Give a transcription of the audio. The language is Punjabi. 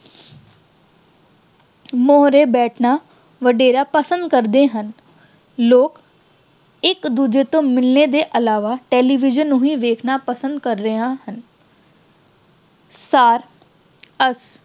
ਮੂਹਰੇ ਬੈਠਣਾ ਵਡੇਰਾ ਪਸੰਦ ਕਰਦੇ ਹਨ। ਲੋਕ ਇੱਕ-ਦੂਜੇ ਨੂੰ ਮਿਲਣ ਤੋਂ ਇਲਾਵਾ television ਨੂੰ ਹੀ ਵੇਖਣਾ ਪਸੰਦ ਕਰ ਰਹੇ ਹਨ। ਸਾਰ ਅਸ ਅਹ